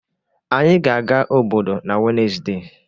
Anyị ga-aga obodo n'Wednesde.